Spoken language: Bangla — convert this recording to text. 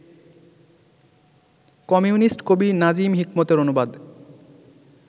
কমিউনিস্ট কবি নাজিম হিকমতের অনুবাদ